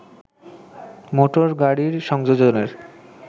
motor গাড়ির সংযোজনের